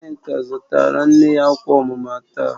Nneka zụtara nne ya akwa omuma taa